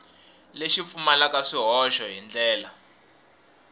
lexi pfumalaka swihoxo hi ndlela